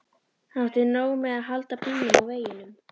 Hann átti nóg með að halda bílnum á veginum.